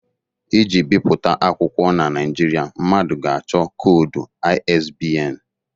Iji bipụta akwụkwọ na Nigeria, mmadụ ga-achọ koodu ISBN